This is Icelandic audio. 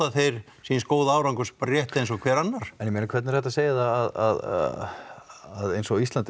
þeir síns góða árangurs bara rétt eins og hver annar en ég meina hvernig er hægt að segja það að eins og á Íslandi